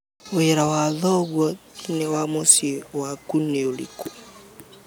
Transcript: Wira wa thoguo thiinĩ wa muciĩ wakũ niuriko?